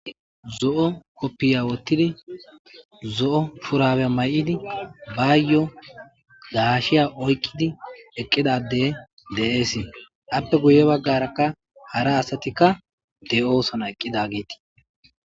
Zoo kopiyya wottidi zoo shurabe mayidi bayyo gashiya oyqida adde deesse. Appe guye bagarakka hara assayka deo'ssonna eqidagetti